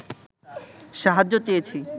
সাহায্য চেয়েছি